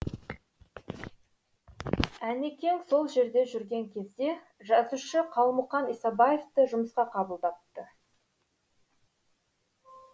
әнекең сол жерде жүрген кезде жазушы қалмұқан исабаевты жұмысқа қабылдапты